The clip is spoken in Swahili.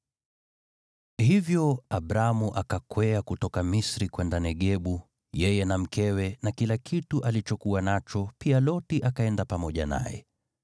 Hivyo Abramu akakwea kutoka Misri kwenda Negebu, yeye na mkewe na kila kitu alichokuwa nacho, pia Loti akaenda pamoja naye.